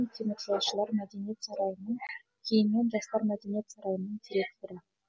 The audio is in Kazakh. теміржолшылар мәдениет сарайының кейіннен жастар мәдениет сарайының директоры